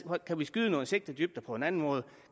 kan vi skyde nogle sigtedybder på en anden måde